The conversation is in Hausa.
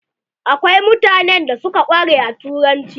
Akwai mutanen da suka ƙware a turanci.